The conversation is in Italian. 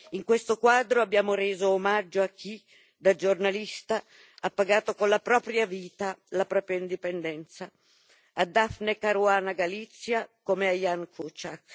In questo quadro abbiamo reso omaggio a chi, da giornalista, ha pagato con la propria vita la propria indipendenza a Daphne Caruana Galizia come a Ján Kuciak.